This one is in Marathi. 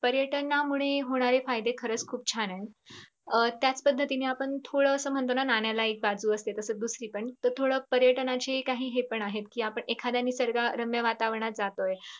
पर्यटनामुळे होणारे फायदे खरच खूप छान आहेत. त्याच पद्धतीने म्हणतो थोडं स नाण्याला एक बाजू असते. तसेच दुसरी पण थोडं पर्यटनाचे काही हे पण आहेत कि आपण एखाद्या निसर्गच्या रम्य वातावरणात जातोय.